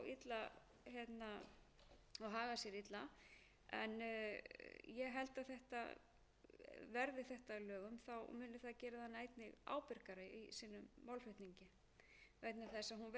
að það verður að taka tillit til hennar þjóðaratkvæðagreiðslur eru sjálfsagður réttur almennings til að hafa meiri áhrif á sín mál því er brýnt að umhverfi